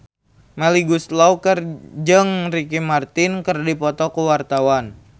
Melly Goeslaw jeung Ricky Martin keur dipoto ku wartawan